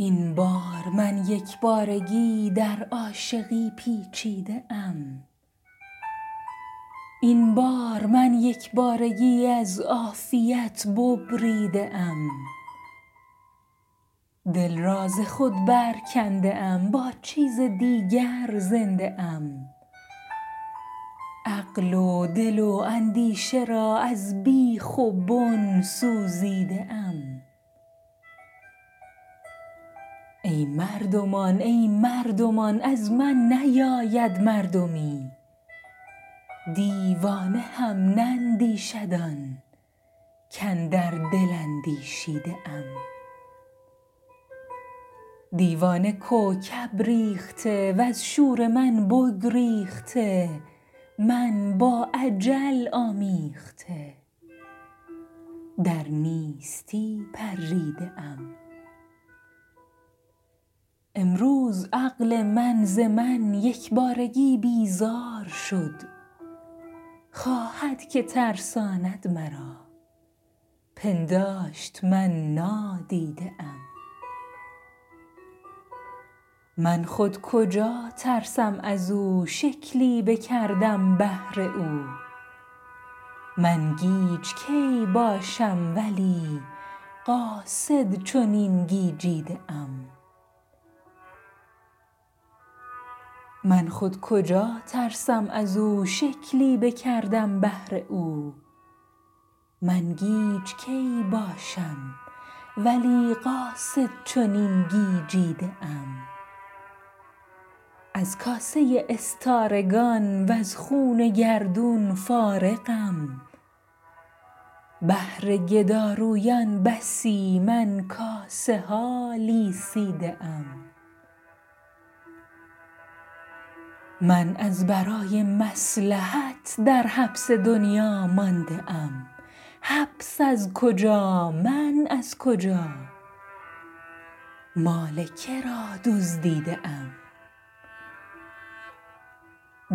این بار من یک بارگی در عاشقی پیچیده ام این بار من یک بارگی از عافیت ببریده ام دل را ز خود برکنده ام با چیز دیگر زنده ام عقل و دل و اندیشه را از بیخ و بن سوزیده ام ای مردمان ای مردمان از من نیاید مردمی دیوانه هم نندیشد آن کاندر دل اندیشیده ام دیوانه کوکب ریخته از شور من بگریخته من با اجل آمیخته در نیستی پریده ام امروز عقل من ز من یک بارگی بیزار شد خواهد که ترساند مرا پنداشت من نادیده ام من خود کجا ترسم از او شکلی بکردم بهر او من گیج کی باشم ولی قاصد چنین گیجیده ام از کاسه استارگان وز خوان گردون فارغم بهر گدارویان بسی من کاسه ها لیسیده ام من از برای مصلحت در حبس دنیا مانده ام حبس از کجا من از کجا مال که را دزدیده ام